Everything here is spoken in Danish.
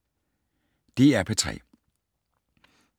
DR P3